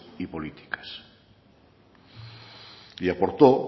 y políticas y aportó